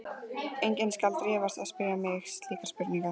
Enginn skal dirfast að spyrja mig slíkra spurninga.